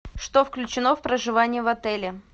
что включено в проживание в отеле